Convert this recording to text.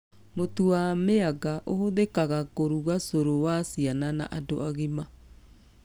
Mũtu wa mĩanga ũhũthĩkaga kũruga cũrũ wa ciana na andũ agima